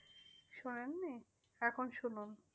শোনেন নি? এখন শুনুন।